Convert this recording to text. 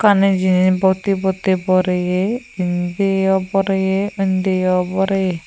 unne jini batti patti bereye indiyo boreye undiyo boreye.